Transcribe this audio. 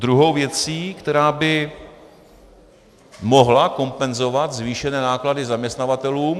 Druhou věcí, která by mohla kompenzovat zvýšené náklady zaměstnavatelům...